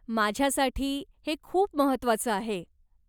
माझ्यासाठी हे खूप महत्वाचं आहे.